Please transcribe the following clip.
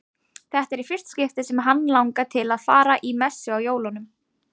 Þetta er í fyrsta skipti sem hann langar til að fara í messu á jólunum.